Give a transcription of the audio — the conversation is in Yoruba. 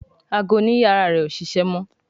Àgọ òní iyàrá rẹ o ṣẹṣẹ mọ.